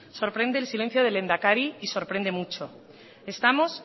sorprende el silencio del lehendakari y sorprende mucho estamos